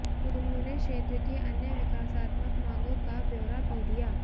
उन्होंने क्षेत्र की अन्य विकासात्मक मांगों का ब्यौरा भी दिया